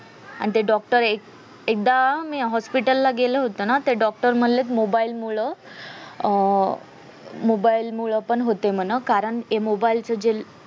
आणि ते doctor एक एकदा मी hospital ला गेले होते ना तेव्हा ते doctor बोलले mobile मूळ mobile मुले पण होते म्हण कारण कारण mobile च जे